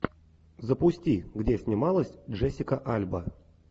запусти где снималась джессика альба